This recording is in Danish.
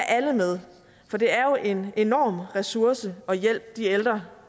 alle med for det er jo en enorm ressource og hjælp de ældre